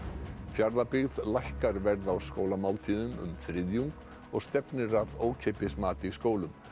Fjarðabyggð lækkar verð á skólamáltíðum um þriðjung og stefnir að ókeypis mat í skólum